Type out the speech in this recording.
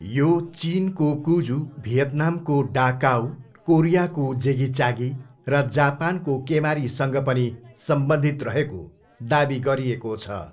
यो चिनको कुजू, भियतनामको डा काऊ, कोरियाको जेगिचागी र जापानको केमारीसँग पनि सम्बन्धित रहेको दावी गरिएको छ।